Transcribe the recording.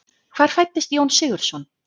Hvar fæddist Jón Sigurðsson?